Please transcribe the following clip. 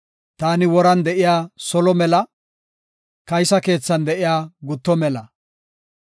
Taani woran de7iya solo mela, kaysa keethan de7iya gutto mela.